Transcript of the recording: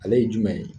Ale ye jumɛn ye